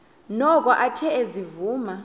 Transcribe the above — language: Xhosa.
noko athe ezivuma